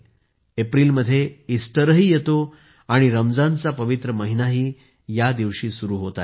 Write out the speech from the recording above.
एप्रिलमध्ये ईस्टरही येतो आणि रमजानचा पवित्र महिनाही या दिवशी सुरू होत आहे